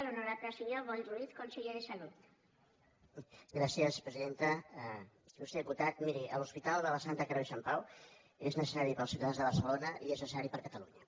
il·lustre diputat miri l’hospital de la santa creu i sant pau és necessari per als ciutadans de barcelona i és necessari per a catalunya